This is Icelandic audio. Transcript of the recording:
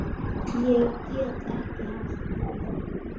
Ég get ekki hætt því.